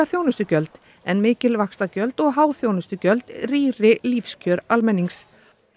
þjónustugjöld en mikil vaxtagjöld og há þjónustugjöld rýri lífskjör almennings